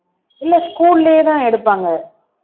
இல்லை school லயே தான் எடுப்பாங்க